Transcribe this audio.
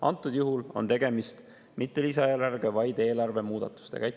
Antud juhul on tegemist mitte lisaeelarvega, vaid eelarve muudatustega.